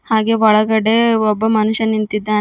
ಹಾಗೆ ಒಳಗಡೆ ಒಬ್ಬ ಮನುಷ್ಯ ನಿಂತಿದ್ದಾನೆ.